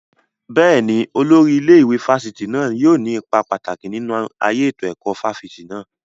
Bẹ́ẹ̀ni, Olórí ilé ìwé fásitì náà yóò ní ipa pàtàkì nínú ayé ètò ẹ̀kọ́ fáfitì náà